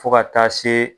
Fo ka taa se